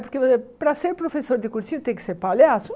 Porque para ser professor de cursinho tem que ser palhaço?